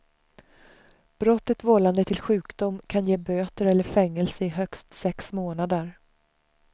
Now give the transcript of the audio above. Brottet vållande till sjukdom kan ge böter eller fängelse i högst sex månader.